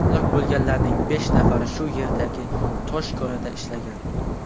Halok bo‘lganlarning besh nafari shu yerdagi tosh konida ishlagan.